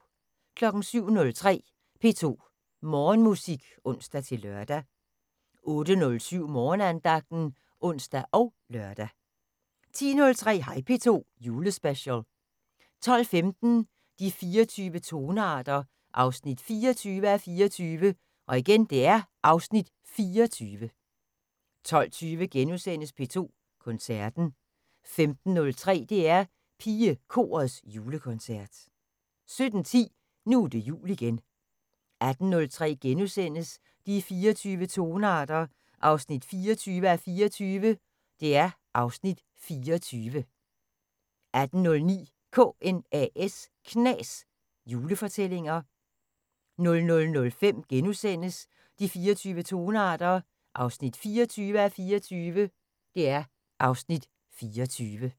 07:03: P2 Morgenmusik (ons-lør) 08:07: Morgenandagten (ons og lør) 10:03: Hej P2 Julespecial 12:15: De 24 tonearter 24:24 (Afs. 24) 12:20: P2 Koncerten * 15:03: DR PigeKorets Julekoncert 17:10: Nu er det jul igen 18:03: De 24 tonearter 24:24 (Afs. 24)* 18:09: KNAS Julefortællinger 00:05: De 24 tonearter 24:24 (Afs. 24)*